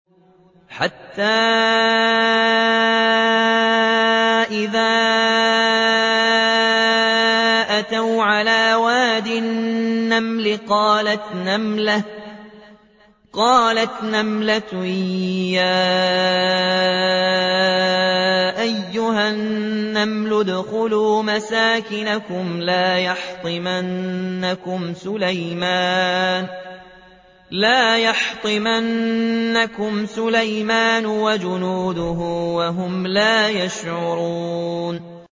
حَتَّىٰ إِذَا أَتَوْا عَلَىٰ وَادِ النَّمْلِ قَالَتْ نَمْلَةٌ يَا أَيُّهَا النَّمْلُ ادْخُلُوا مَسَاكِنَكُمْ لَا يَحْطِمَنَّكُمْ سُلَيْمَانُ وَجُنُودُهُ وَهُمْ لَا يَشْعُرُونَ